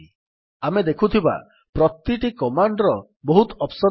ଆମେ ଦେଖୁଥିବା ପ୍ରତିଟି କମାଣ୍ଡ୍ ର ବହୁତ ଅପ୍ସନ୍ ଅଛି